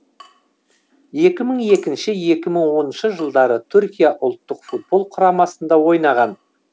екі мың екінші екі мың оныншы жылдары түркия ұлттық футбол құрамасында ойнаған